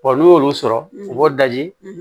n'u y'olu sɔrɔ u b'o daji